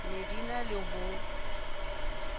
ne di na le ho